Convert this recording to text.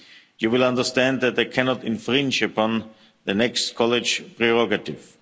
You will understand that they cannot infringe upon the next College prerogative.